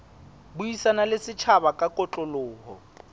buisana le setjhaba ka kotloloho